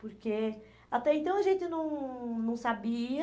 Porque até então a gente não não sabia...